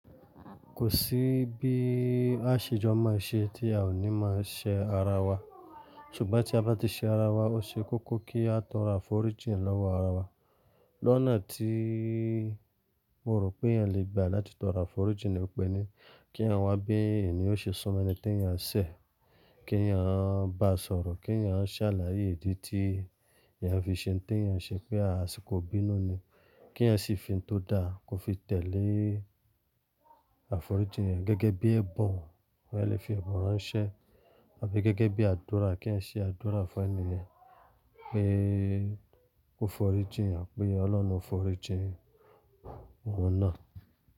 Kò sí bí a ṣe jọ máa ṣe tí a ò ní máa ṣẹ ara wa, ṣùgbọ́n tí a bá ti ṣe ara wa, ó ṣe kókó kí a tọrọ àforíjìn lọ́wọ́ ara wa. Lónà tí mo rò pé eyẹn le gbà láti tọrọ àforíjìn ni pé ní kí yẹn wá bí ènìyàn ṣe sọmẹ́ni tí yẹn ṣẹ̀, kí yẹn bá sọ̀rọ̀, kí yẹn ṣàlàyé ìdí tí yẹn fi ṣe ohun tí yẹn ṣe pé a sì kò ibínú ni, kí eyan sì fi ohun tó da kó fi tẹ̀lé àforíjìn yẹn gẹ́gẹ́ bí ẹ̀bùn, ó yẹ kí ó fi ẹ̀bùn ránṣẹ́ àbí gẹ́gẹ́ bí àdúrà kí eyan ṣe àdúrà fún ẹni yẹn pé ó fọ̀rí jìn àbí Ọlọ́run fọ̀rí jìn ohun náà.